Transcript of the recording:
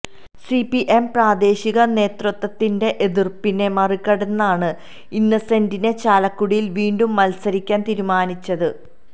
CPM പ്രാദേശിക നേതൃത്വത്തിന്റെ എതിര്പ്പിനെ മറികടന്നാണ് ഇന്നസെന്റിനെ ചാലക്കുടിയില് വീണ്ടും മല്സരിക്കാന് തീരുമാനിച്ചത്